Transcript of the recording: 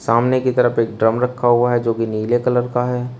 सामने की तरफ एक ड्रम रखा हुआ है जो कि नीले कलर का है।